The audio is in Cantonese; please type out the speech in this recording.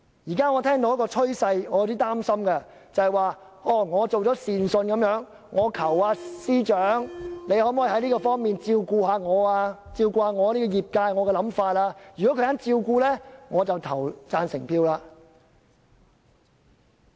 現在我看到一個趨勢，令我有點擔心，便是我們好像一個善信，我們求司長在某方面照顧我們業界和我們的想法，如果他肯，我們便投贊成票。